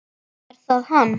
Er það hann?